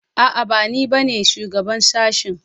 A'a bani ba ne shugaban shashen